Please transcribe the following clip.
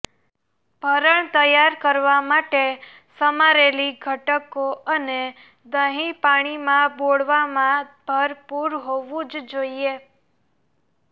ભરણ તૈયાર કરવા માટે સમારેલી ઘટકો અને દહીં પાણીમાં બોળવામાં ભરપૂર હોવું જ જોઈએ